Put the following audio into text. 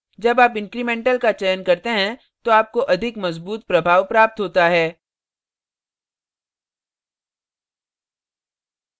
जब आप incremental incremental का चयन करते हैं तो आपको अधिक मजबूत प्रभाव प्राप्त होता है